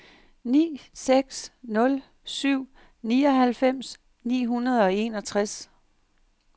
ni seks nul syv nioghalvfems ni hundrede og enogtres